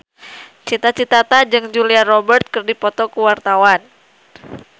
Cita Citata jeung Julia Robert keur dipoto ku wartawan